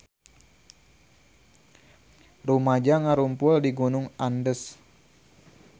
Rumaja ngarumpul di Gunung Andes